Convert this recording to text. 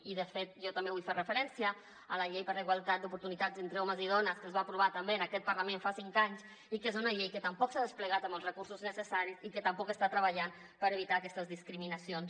i de fet jo també vull fer referència a la llei per a la igualtat d’oportunitats entre homes i dones que es va aprovar també en aquest parlament fa cinc anys i que és una llei que tampoc s’ha desplegat amb els recursos necessaris i que tampoc està treballant per evitar aquestes discriminacions